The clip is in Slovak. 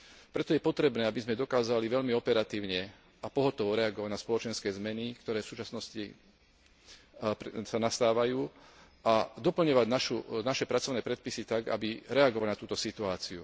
Preto je potrebné, aby sme dokázali veľmi operatívne a pohotovo reagovať na spoločenské zmeny, ktoré v súčasnosti nastávajú, a doplňovať naše pracovné predpisy tak, aby reagovali na túto situáciu.